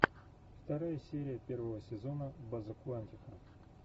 вторая серия первого сезона база куантико